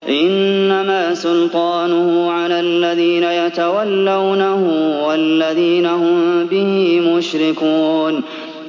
إِنَّمَا سُلْطَانُهُ عَلَى الَّذِينَ يَتَوَلَّوْنَهُ وَالَّذِينَ هُم بِهِ مُشْرِكُونَ